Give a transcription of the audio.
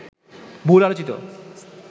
বহুল আলোচিত